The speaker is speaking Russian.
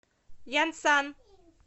янсан